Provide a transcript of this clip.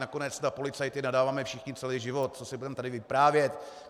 Nakonec na policajty nadáváme všichni celý život, co si budeme tady vyprávět.